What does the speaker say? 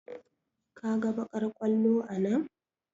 Ka ga baƙar ƙwallo a nan?